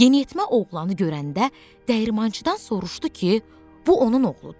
Yeniyetmə oğlanı görəndə dəyirmançıdan soruşdu ki, bu onun oğludur?